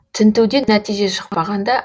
тінтуден нәтиже шықпағанда